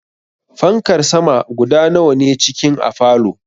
Fankar sama guda nawa ne cikin a falow?